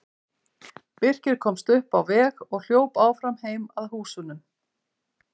Birkir komst upp á veg og hljóp áfram heim að húsunum.